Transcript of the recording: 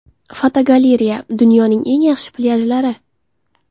Fotogalereya: Dunyoning eng yaxshi plyajlari.